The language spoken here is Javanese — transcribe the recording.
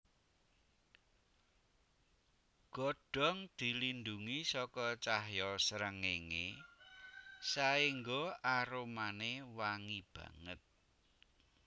Godhong dilindhungi saka cahya srengéngé saéngga aromané wangi banget